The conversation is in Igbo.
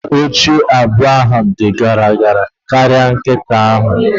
Mkpi ochie abụọ ahụ di gara gara karịa nkịta ahụ